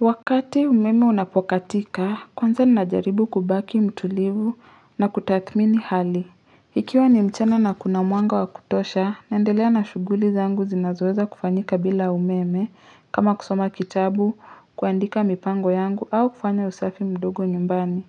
Wakati umeme unapokatika, kwanza ninajaribu kubaki mtulivu na kutathmini hali. Ikiwa ni mchana na kuna mwanga wakutosha, naendelea na shuguli zangu zinazoweza kufanyika bila umeme kama kusoma kitabu, kuandika mipango yangu au kufanya usafi mdogo nyumbani.